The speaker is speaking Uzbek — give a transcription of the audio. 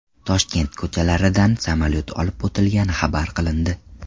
Toshkent ko‘chalaridan samolyot olib o‘tilgani xabar qilindi .